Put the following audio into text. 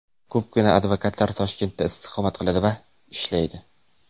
Ko‘pgina advokatlar Toshkentda istiqomat qiladi va ishlaydi.